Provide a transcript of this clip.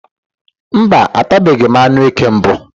Mba, atabeghi m anụ eke mbụ.